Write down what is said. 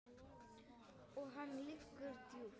Og hann liggur djúpt